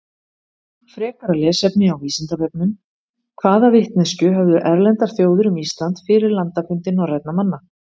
Frekara lesefni á Vísindavefnum: Hvaða vitneskju höfðu erlendar þjóðir um Ísland fyrir landafundi norrænna manna?